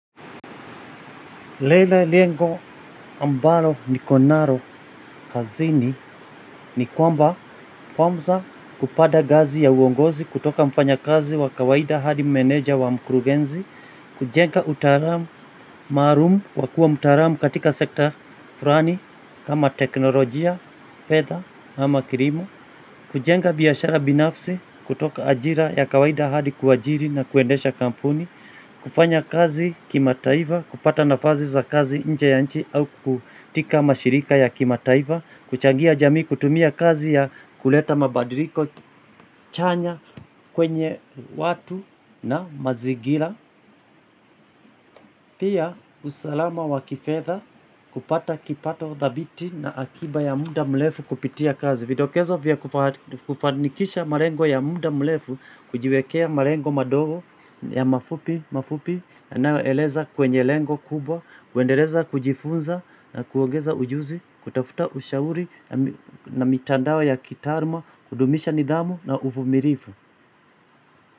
Lele lengo ambalo niko naro kazini ni kwamba kwamza kupada gazi ya uongozi kutoka mfanya kazi wa kawaida hadi meneja wa mkurugenzi Kujenga utaramu maarum wakua mutaramu katika sekta frani kama teknolojia, fedha ama kirimo Kujenga biashara binafsi kutoka ajira ya kawaida hadi kuajiri na kuendesha kampuni Kufanya kazi kima taiva, kupata nafazi za kazi inje ya nchi au kutika mashirika ya kima taiva Kuchangia jamii, kutumia kazi ya kuleta mabadiriko, chanya kwenye watu na mazigila Pia usalama wa kifedha kupata kipato thabiti na akiba ya muda mlefu kupitia kazi Videkezo vya kuva kufanikisha marengo ya muda mlefu, kujiwekea marengo madogo ya mafupi, mafupi yanayo eleza kwenye lengo kubwa, kuendeleza kujifunza na kuongeza ujuzi, kutafuta ushauri nami na mitandawa ya kitaruma, kudumisha nidhamu na ufumirifu.